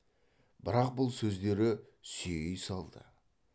бірақ бұл сөздері сүйей салды